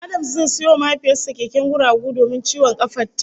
Adams zai sayo wa mahaifiyar sa keken guragu domin ciwon kafar ta